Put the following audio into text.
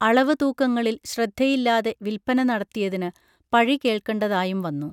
അളവ് തൂക്കങ്ങളിൽ ശ്രദ്ധയില്ലാതെ വിൽപ്പന നടത്തിയതിന് പഴി കേൾക്കേണ്ടതായും വന്നു